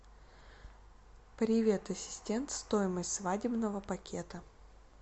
привет ассистент стоимость свадебного пакета